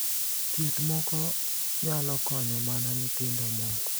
Thieth moko nyalo konyo mana nyithindo moko .